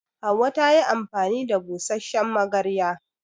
Hauwa ta yi amfani da busasshen magarya.